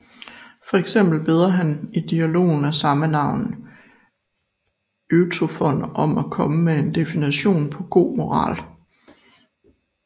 For eksempel beder han i dialogen af samme navn Euthyfron om at komme med en definition på god moral